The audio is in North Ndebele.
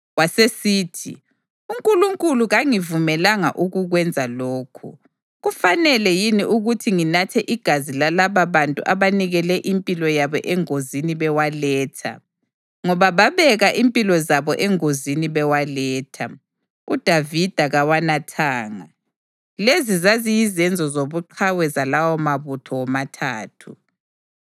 Wasesithi, “UNkulunkulu kangangivumeli ukukwenza lokhu! Kufanele yini ukuthi nginathe igazi lalababantu abanikele impilo yabo engozini bewaletha?” Ngoba babeka impilo zabo engozini bewaletha, uDavida kawanathanga. Lezi zaziyizenzo zobuqhawe zalawomabutho womathathu.